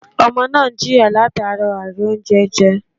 Ọmọ náà n jìyà látara àìrì oúnjẹ je